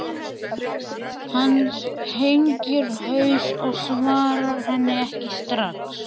Hann hengir haus og svarar henni ekki strax.